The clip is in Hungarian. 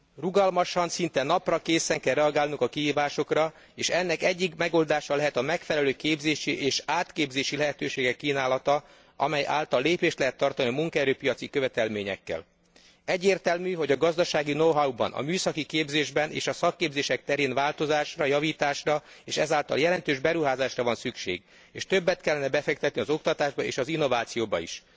Rugalmasan, szinte naprakészen kell reagálnunk a kihívásokra, és ennek egyik megoldása lehet a megfelelő képzési és átképzési lehetőségek kínálata, amely által lépést lehet tartani a munkaerő piaci követelményekkel. Egyértelmű, hogy a gazdasági know how ban, a műszaki képzésben és a szakképzések terén változásra, javításra, és ez által jelentős beruházásra van szükség, és többet kellene befektetni az oktatásba és az innovációba is.